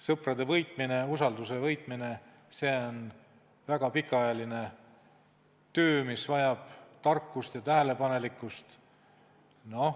Sõprade võitmine ja usalduse võitmine on väga pikaajaline töö, mis vajab tarkust ja tähelepanelikkust.